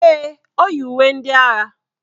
Èè, o yi uwe ndị agha.